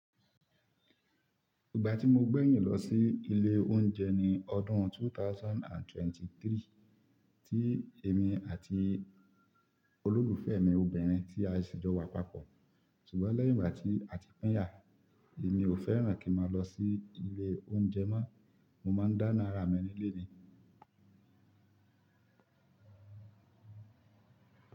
Ìgbà tí mo gbẹ̀yìn lọ sí ilé oúnjẹ ní ọdún two thousand and twenty three, tí èmi àti olólùfẹ́ mi obìnrin tí a ṣì jọ wa papọ̀. Ṣùgbọ́n lẹ́yìn ìgbà tí a ti pinyà, èmi ò fẹ́ràn kí a máa lọ sí ilé oúnjẹ mọ́, mo máa ń dáná ara mi ni le ni.